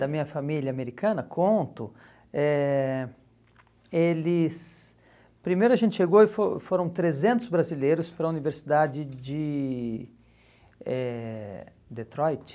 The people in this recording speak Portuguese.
da minha família americana, conto, eh eles... Primeiro a gente chegou e foi foram trezentos brasileiros para a Universidade de eh Detroit?